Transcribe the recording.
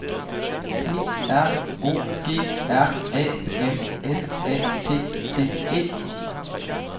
P R O G R A M S A T T E